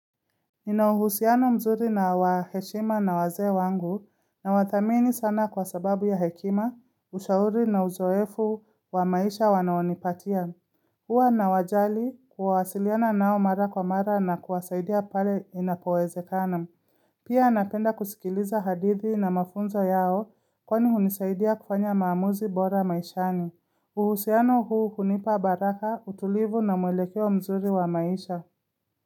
Ninauhusiano mzuri na wa heshima na wazee wangu na wadhamini sana kwa sababu ya hekima, ushauri na uzoefu wa maisha wanaonipatia. Huwa na wajali kuwasiliana nao mara kwa mara na kuwasaidia pale inapowezekana. Pia napenda kusikiliza hadithi na mafunzo yao kwani hunisaidia kufanya maamuzi bora maishani. Uhusiano huu hunipa baraka utulivu na mwelekeo mzuri wa maisha.